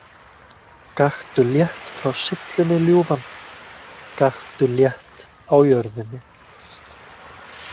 Gakktu létt frá syllunni, ljúfan, gakktu létt á jörðinni.